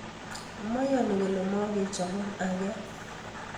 Meyoni kole mokechobon ageny.